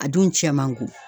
A dun cɛn man go